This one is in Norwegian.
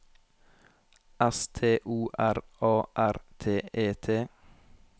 S T O R A R T E T